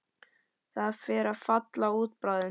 Það fer að falla út bráðum.